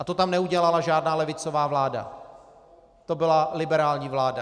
A to tam neudělala žádná levicová vláda, to byla liberální vláda.